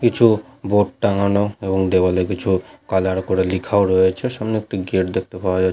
কিছু বোর্ড টাঙানো এবং দেওয়াল এ কিছু কালার করে লিখাও রয়েছে সামনে একটি গেট দেখতে পাওয়া যা--